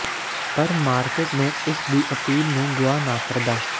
ਪਰ ਮਾਰਕੀਟ ਨੂੰ ਇਸ ਦੀ ਅਪੀਲ ਨੂੰ ਗੁਆ ਨਾ ਕਰਦਾ